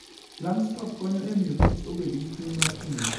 Langstroth konyo e miyo kich' bedo gi chuny mar tiyo.